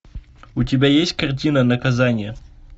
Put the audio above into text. у тебя есть картина наказание